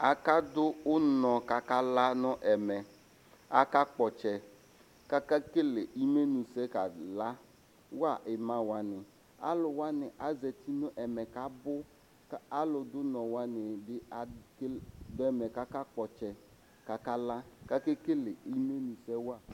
Akadʋ ʋnɔ kʋ akala nʋ ɛmɛ kʋ akakpɔ ɔtsɛ kʋ akekele imenʋsɛ kʋ akalawa imawani alʋ wani azeti nʋ ɛmɛ kʋ abʋ kʋ alʋdʋ ʋnɔ wani bi dʋ ɛmɛ kʋ akakpɔ ɔtsɛ kʋ akala kʋ akekel imenʋsɛwa